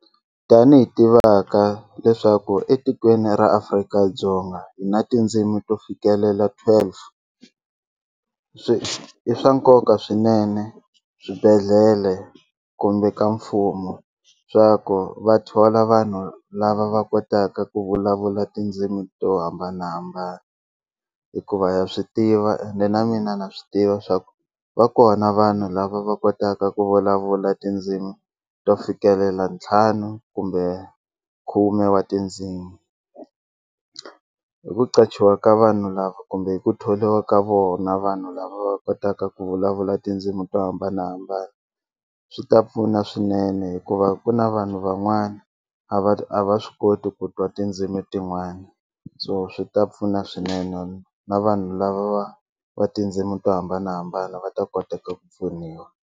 Tanihi tivaka leswaku etikweni ra Afrika-Dzonga hi na tindzimi to fikelela twelve swi i swa nkoka swinene swibedhlele kumbe ka mfumo swa ku va thola vanhu lava va kotaka ku vulavula tindzimi to hambanahambana hikuva ha swi tiva ende na mina na swi tiva swa ku va kona vanhu lava va kotaka ku vulavula tindzimi to fikelela ntlhanu kumbe khume wa tindzimi hi ku qachiwa ka vanhu lava kumbe hi ku thoriwa ka vona vanhu lava va kotaka ku vulavula tindzimi to hambanahambana swi ta pfuna swinene hikuva ku na vanhu van'wana a va a va swi koti ku twa tindzimi tin'wana so swi ta pfuna swinene na vanhu lava va va tindzimi to hambanahambana va ta kota ku pfuniwa.